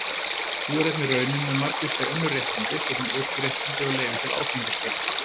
Sú er einnig raunin með margvísleg önnur réttindi, svo sem ökuréttindi og leyfi til áfengiskaupa.